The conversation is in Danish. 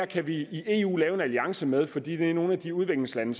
kan vi i eu lave en alliance med fordi det er nogle af de udviklingslande